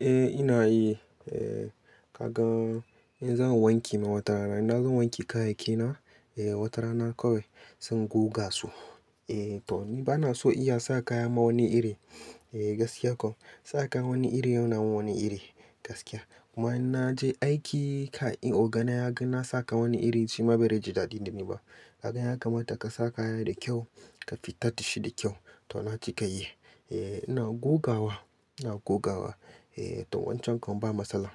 Eh ina yi. Kaga in zan wanke ma watarana, idan zan wanke kayayyakina, wata rana kawai zan goga su. To ni bana so iya sa kaya ma wani iri, gaskiya ko. Sa kaya wani iri yana wani iri gaskiya. Kuma in naje aiki kai in ogana ya ga na sa kaya wani iri shima bai riji daɗi da ni ba. Kaga ya kamata ka sa kaya da kyau ka fita da shi da kyau. To na cika yi. Eh ina gogawa, ina gogawa. To wancan kom ba matsala.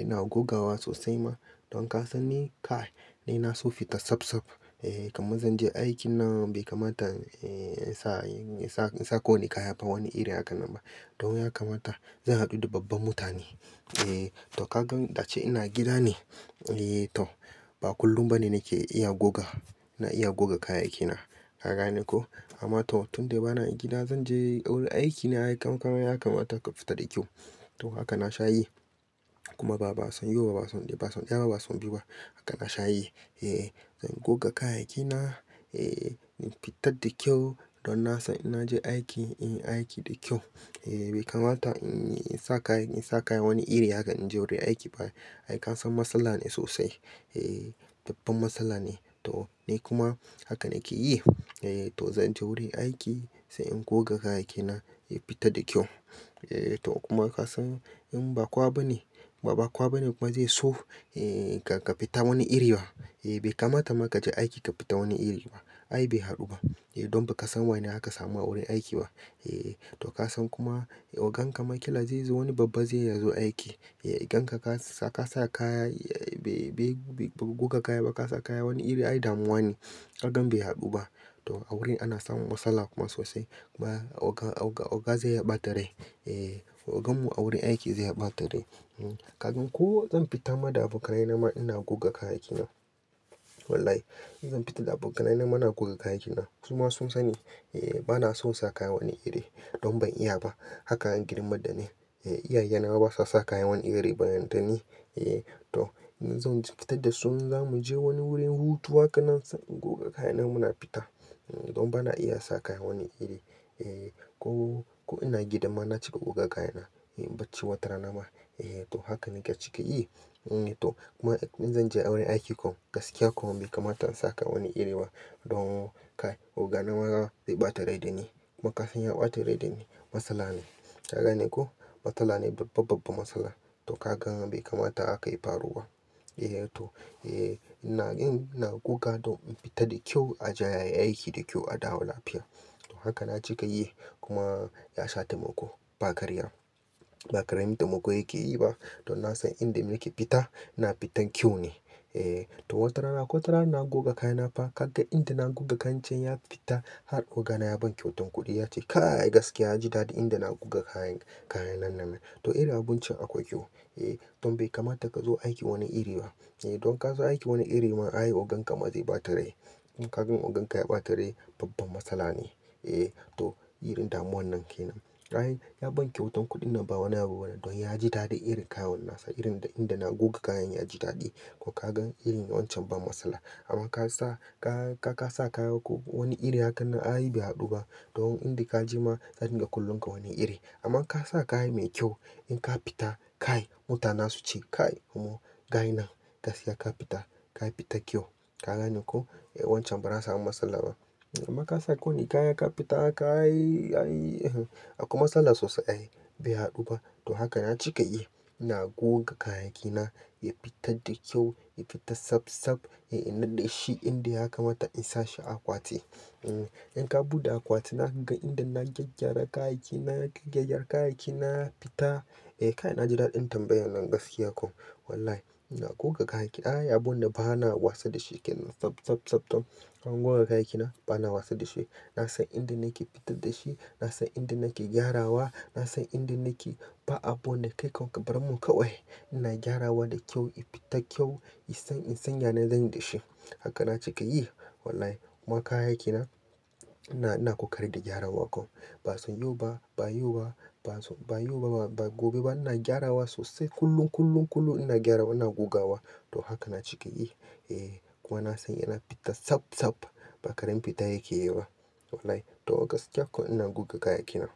Ina gogawa sosai ma. Don ka san ni kai, ni na so fita safsaf. Eh kamar zan je aiki nan bai kamata in sa, in sa kowane kaya ba wani iri haka nan ba. Don ya kamata zan haɗu da babba mutane. Eh to ka gan dace ina gida ne, eh to ba kullum bane nake iya goga, na iya goga kayayyakina. Ka gane ko? Amma to tun dai bana gida zan je wurin aikina, kam kamar ya kamata ka fita da kyau. To haka na sha yi. Kuma ba, ba son yau ba, ba son daya ba son biyu ba. Haka na sha yi. Eh zan goga kayayyakina, eh in fitar da kyau don na san in naje aiki, in yi aiki da kyau. Eh bai kamata in sa kaya, in sa kaya wani iri haka in je wurin aiki ba. Ai ka san matsala ne sosai. Eh babban matsala ne. To ni kuma haka nake yi. Eh to zan je wurin aiki sai in goga kayayyakina ya fita da kyau. Eh to kuma ka san in ba kowa bane, ba kowa bane kuma zai so eh ka fita wani iri ba. Eh bai kamata ma ka je aiki ka fita wani iri ba. Ai bai haɗu ba. Idon ba ka san wane aka samu a wurin aiki ba. Eh to ka san kuma ogan ka ma kila zai zo wani babba zai ya zo aiki. Eh idan ka sa kaya bai, bai goga kaya ba ka sa kaya wani iri ai damuwa ne. Kaga bai haɗu ba. To a wurin ana samun matsala kuma sosai. Kuma oga, oga zai yaɓa da rai. Eh ogan mu a wurin aiki zai yaɓa da rai Kagin ko zan fita ma da abokanai na ma ina goga kayayyakina. Wallahi. Zan fita da abokanai na mana goga kayayyakina. Suma sun sani eh bana son sa kaya wani iri. Don ban iya ba. Haka girman da ne. Eh iyaye na ma basa sa kaya wani iri ba har da ni. Eh to in zan fita da su zamu je wani wurin hutu haka nan sai in goga kayana muna fita. Don bana iya sa kaya wani iri. Eh ko, ko ina gida ma na cika goga kayana. Eh bacci wata rana ma. Eh to haka nake cika yi. Eh to kuma in zan je wurin aiki kom gaskiya kom bai kamata in sa kaya wani iri ba. Don oga na ma zai ɓata rai da ni. Makafin ya ɓata rai da ni. Matsala ne. Ka gane ko? Matsala ne babba, babba matsala. To ka gan bai kamata aka yi faruwa. Eh to, eh ina, ina goga don in fita da kyau a je a yi aiki da kyau a dawo lafiya. To haka na cika yi. Kuma ya shata mako ba karya. Ba karamin taimako yake yi ba. Don na san inda nake fita ina fitan kyau ne. Eh to wata rana, akwai wata rana na goga kayana fa ka ga inda na goga kancan ya fita har ogana ya ban kyautan kuɗi ya ce "Kai gaskiya ya ji daɗi inda na goga kayan, kayan nan nan." To irin abincin akwai kyau. Eh don bai kamata ka zo aiki wani iri ba. Idon ka zo aiki wani iri ma ai ogan ka ma zai ɓata rai. Don ka gan ogan ka ya ɓata rai babban matsala ne. Eh to irin damuwan nan ke nan. Ai ya ban kyautan kuɗin nan ba wani abu bane don ya ji daɗi irin kayan nan sa irin inda na goga kayan ya ji daɗi. Ko ka gan irin wancan ban matsala. Amma ka sa, ka sa kaya ko wani iri haka nan ai bai haɗu ba. Don inda ka je ma za su dinga kallon ka wani iri. Amma ka sa kaya mai kyau in ka fita kai mutane su ce "Kai omo kayan nan gaskiya ka fita, ka fita kyau." Ka gane ko? Eh wancan ba za a samu matsala ba. Amma ka sa kowane kaya ka fita aka yi, aka yi, aka yi, akwai matsala sosai ai. Bai haɗu ba. To haka na cika yi. Ina goga kayayyakina ya fita da kyau, ya fita safsaf. Eh ina da shi inda ya kamata in sa shi a akwati. Eh in ka buɗe akwati na ka ga inda na gyaggyara kayayyaki, na gyaggyara kayayyaki na fita. Eh kai na ji daɗin tambayan nan gaskiya kom. Wallahi. Ina goga kayayyaki. Ai abu na ba na wasa da shi. Kai nan safsafsaf. Don in goga kayayyaki na bana wasa da shi. Na san inda nake fitar da shi, na san inda nake gyarawa, na san inda nake ba abunda kai kabarmun kawai. Ina gyarawa da kyau ya fita kyau, san in san yane zan yi da shi. Haka na cika yi. Wallahi. Kuma kayayyaki na ina, ina ƙoƙari da gyarawa kom. Ba son yau ba, ba yau ba, ba son, ba yau ba, ba gobe ba ina gyarawa sosai kullum, kullum, kullum ina gyarawa ina gogawa. To haka na cika yi. Eh kuma na san yana fita safsaf. Ba karen fita yake yi ba. Wallahi. To gaskiya kom ina goga kayayyaki na.